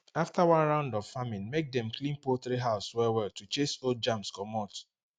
after one round of farming make dem clean poultry house well well to chase old germs comot